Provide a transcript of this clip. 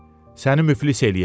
Səni müflis eləyəcək.